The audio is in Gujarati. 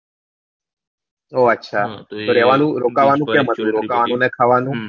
ઓ અછા તો રેવાનું રોકાવાનું ક્યાં બધું રોકાવાનું ને ખાવાનું બધું